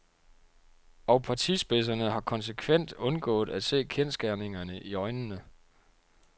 Og partispidserne har konsekvent undgået at se kendsgerningerne i øjnene.